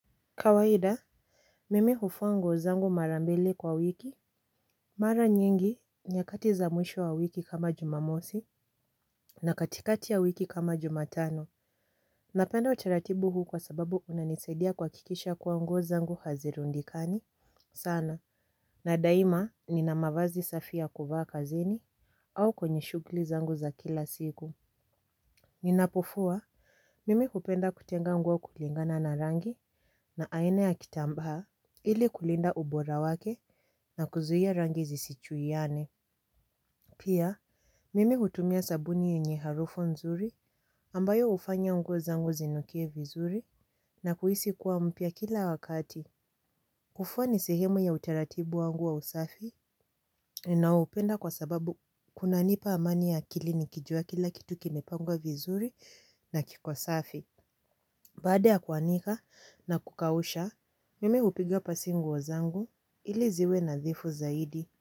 Kawaida. Mimi hufua nguo zangu mara mbili kwa wiki. Mara nyingi nyakati za mwisho wa wiki kama jumamosi na katikati ya wiki kama jumatano napenda utaratibu huu kwa sababu unanisaidia kuhakikisha kuwa nguo zangu hazirundikani sana na daima nina mavazi safi ya kuvaa kazini au kwenye shughli zangu za kila siku. Ninapofua mimi hupenda kutenga nguo kulingana na rangi na aine ya kitambaa ili kulinda ubora wake na kuzuia rangi zisichuiane. Pia, mimi hutumia sabuni yenye harufu nzuri ambayo hufanya nguo zangu zinukie vizuri na kuhisi kuwa mpya kila wakati. Kufua ni sehemu ya utaratibu wangu wa usafi ninaoupenda kwa sababu kunanipa amani ya akili nikijua kila kitu kimepangwa vizuri na kiko safi. Baada ya kuanika na kukausha, mimi hupiga pasi nguo zangu ili ziwe nadhifu zaidi.